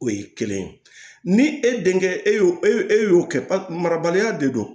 O ye kelen ye ni e denkɛ e y'o e e y'o kɛ marabaliya de don